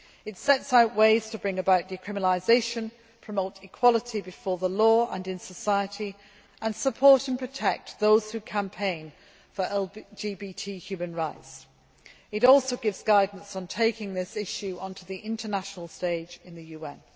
It sets out ways to bring about decriminalisation, promote equality before the law and in society, and support and protect those who campaign for LBGT human rights. It also gives guidance on taking this issue onto the international stage in the UN.